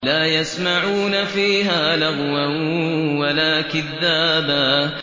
لَّا يَسْمَعُونَ فِيهَا لَغْوًا وَلَا كِذَّابًا